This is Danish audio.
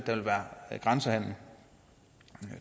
vil være grænsehandel